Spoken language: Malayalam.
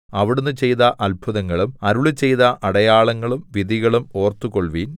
അവിടുന്ന് ചെയ്ത അത്ഭുതങ്ങളും അരുളിച്ചെയ്ത അടയാളങ്ങളും വിധികളും ഓർത്തുകൊൾവിൻ